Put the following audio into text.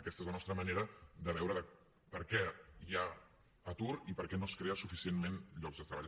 aquesta és la nostra manera de veure per què hi ha atur i per què no es creen suficientment llocs de treball